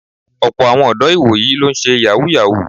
Ọ̀pọ́ àwọn ọ̀dọ́ ìwòyí ló ń ṣe Yàhooyahoo